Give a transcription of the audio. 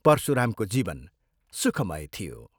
परशुरामको जीवन सुखमय थियो।